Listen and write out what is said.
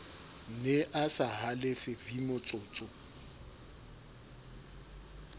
ne a sa halefe vmotsotso